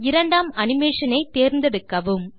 இரண்டாம் அனிமேஷன் ஐ தேர்ந்தெடுக்கவும்